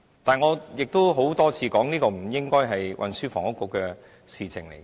然而，我曾多次指出，這不應該是運輸及房屋局的事情。